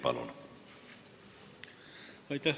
Palun!